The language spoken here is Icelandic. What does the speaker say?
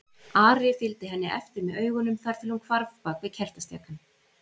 Ari fylgdi henni eftir með augunum þar til hún hvarf bak við kertastjakann.